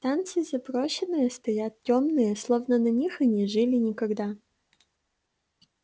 станции заброшенные стоят тёмные словно на них и не жили никогда